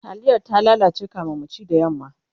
taliyar ta lalace kamin mu ci da yamma